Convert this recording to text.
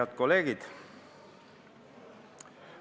Head kolleegid!